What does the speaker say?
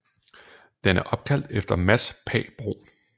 Den er opkaldt efter Mads Pagh Bruun